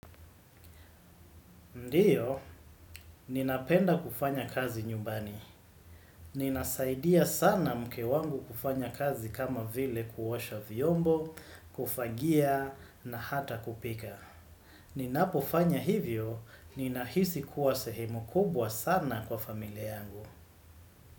Ndiyo, ninapenda kufanya kazi nyumbani. Ninasaidia sana mke wangu kufanya kazi kama vile kuosha vyombo, kufagia na hata kupika. Ninapofanya hivyo, ninahisi kuwa sehemu kubwa sana kwa familia yangu.